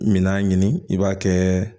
Minan ɲini i b'a kɛ